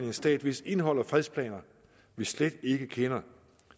en stat hvis indhold og fredsplaner vi slet ikke kender